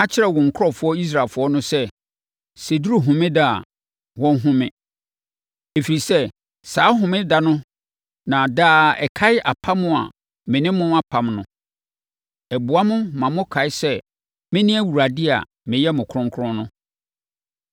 “Ka kyerɛ wo nkurɔfoɔ Israelfoɔ no sɛ, ‘Sɛ ɛduru homeda a, wɔnhome, ɛfiri sɛ, saa homeda no na daa ɛkae apam a me ne mo apam no. Ɛboa mo ma mokae sɛ mene Awurade a meyɛ mo kronkron no.